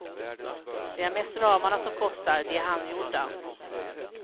Det är mest ramarna som kostar, de är handgjorda.